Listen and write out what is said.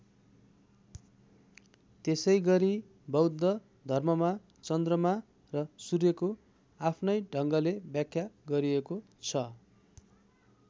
त्यसै गरी बौद्ध धर्ममा चन्द्रमा र सूर्यको आफ्नै ढङ्गले व्याख्या गरिएको छ।